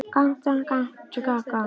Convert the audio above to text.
Saman áttu þau tvö börn.